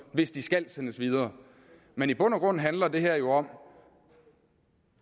hvis de skal sendes videre men i bund og grund handler det her jo om